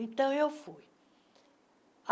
Então, eu fui.